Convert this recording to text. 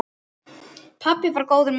Pabbi var góður maður.